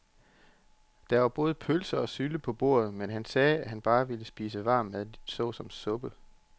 Der var både blodpølse og sylte på bordet, men han sagde, at han bare ville spise varm mad såsom suppe.